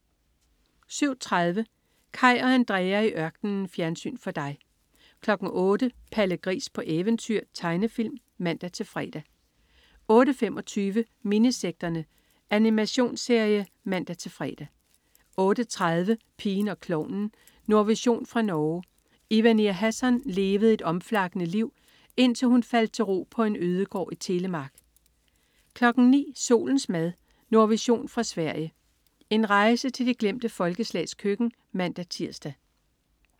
07.30 Kaj og Andrea i ørkenen. Fjernsyn for dig 08.00 Palle Gris på eventyr. Tegnefilm (man-fre) 08.25 Minisekterne. Animationsserie (man-fre) 08.30 Pigen og klovnen. Nordvision fra Norge. Ivanir Hasson levede et omflakkende liv, indtil hun faldt til ro på en ødegård i Telemark 09.00 Solens mad. Nordvision fra Sverige. En rejse til de glemte folkeslags køkken (man-tirs)